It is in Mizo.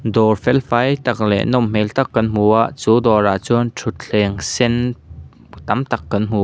dawr fel fai tak leh nawm hmel tak kan hmu ah chu dawrah chuan thutthleng sen tam tak kan hmu a.